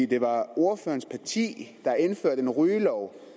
det var ordførerens parti der indførte en rygelov